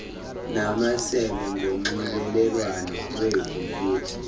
namasebe ngonxibelelwano lwekhompyutha